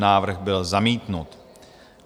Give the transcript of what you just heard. Návrh byl zamítnut.